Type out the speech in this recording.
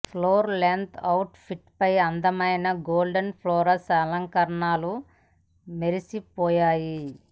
floor length outfit పై అందమైన golden floral అలంకరణలు మెరిసిపోయాయి